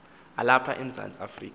alapha emzantsi afrika